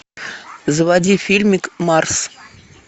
заводи фильмик марс